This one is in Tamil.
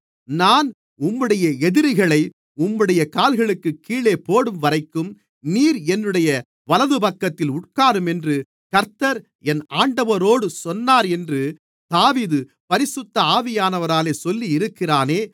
நான் உம்முடைய எதிரிகளை உம்முடைய கால்களுக்குக் கீழே போடும்வரைக்கும் நீர் என்னுடைய வலதுபக்கத்தில் உட்காரும் என்று கர்த்தர் என் ஆண்டவரோடு சொன்னார் என்று தாவீது பரிசுத்த ஆவியானவராலே சொல்லியிருக்கிறானே